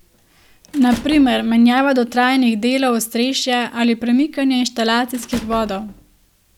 Na primer, menjava dotrajanih delov ostrešja ali premikanje inštalacijskih vodov.